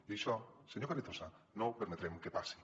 i això senyor carrizosa no permetrem que passi